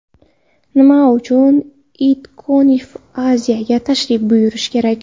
Nima uchun ItConf.Asia’ga tashrif buyurish kerak?